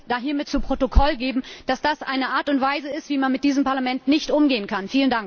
Ich möchte daher zu Protokoll geben, dass das eine Art und Weise ist, wie man mit diesem Parlament nicht umgehen kann.